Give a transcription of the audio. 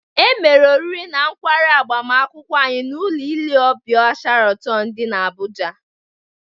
E mere oriri na nkwarị agbamakwụkwọ anyị n'ụlọ ile ọbịa Sharatọn dị n'Abụja